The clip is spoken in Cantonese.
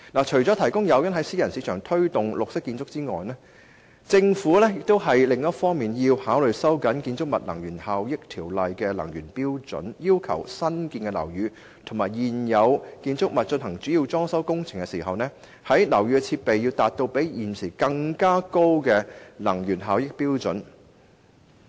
除提供誘因在私人市場推動綠色建築外，政府亦要考慮收緊《建築物能源效益條例》的能源效益標準，要求新建樓宇和現有建築物在進行主要裝修工程時，樓宇的設備要達到比現時高的能源效益標準。